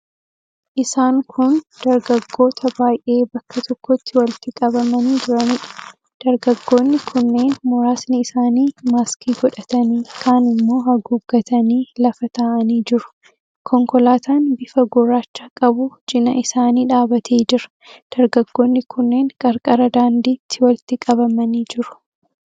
Isaan kun dargaggoota baay'ee bakka tokkotti walitti qabamanii jiraniidha. Dargaggoonni kunneen muraasni isaanii maaskii godhatanii, kaan immoo haguuggatanii lafa taa'anii jiru. Konkolaataan bifa gurraacha qabu cina isaanii dhaabbatee jira. Dargaggoonni kunneen qarqara daandiitti walitti qabamanii jiru.